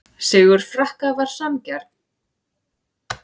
Sigur Frakka var sanngjarn